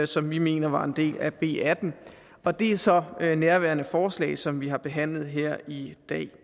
som vi mener var en del af b atten og det er så nærværende forslag som vi har behandlet her i